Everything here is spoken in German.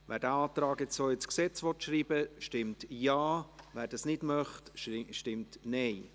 Wer diesen Antrag so ins Gesetz schreiben will, stimmt Ja, wer das nicht möchte, stimmt Nein.